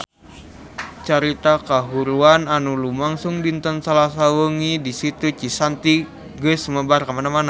Carita kahuruan anu lumangsung dinten Salasa wengi di Situ Cisanti geus sumebar kamana-mana